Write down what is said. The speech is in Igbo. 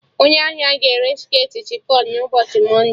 Onye ahia ga-ere shirtị chifọn na ụbọchị mọnde